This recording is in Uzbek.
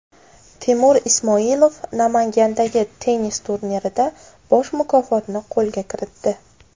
Temur Ismoilov Namangandagi tennis turnirida bosh mukofotni qo‘lga kiritdi.